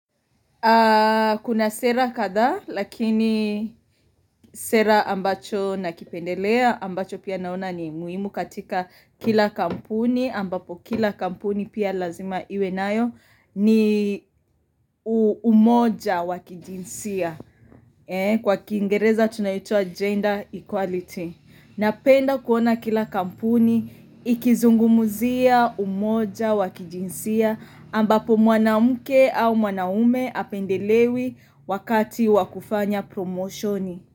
Kuna sera kadhaa lakini sera ambacho nakipendelea ambacho pia naona ni muhimu katika kila kampuni ambapo kila kampuni pia lazima iwe nayo ni umoja wa kijinsia. Kwa kiingereza tunaita gender equality. Napenda kuona kila kampuni ikizungumzia, umoja wa kijinsia ambapo mwanamke au mwanaume apendelewi wakati wa kufanya promoshoni.